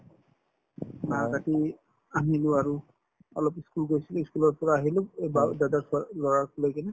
বাহ কাটি আহিলো আৰু অলপ ই school গৈছিলো ই school ৰ পৰা আহিলো এই বাও দাদাৰ ছোৱা লৰাটোক লৈ কিনে